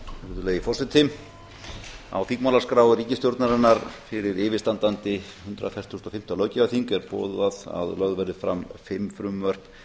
virðulegi forseti á þingmálaskrá ríkisstjórnarinnar fyrir yfirstandandi hundrað fertugasta og fimmta löggjafarþing er boðað að lögð verði fram fimm frumvörp